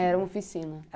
Era uma oficina.